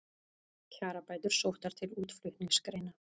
Kjarabætur sóttar til útflutningsgreina